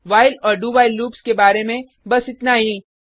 while और do while loops के बारे में बस इतना ही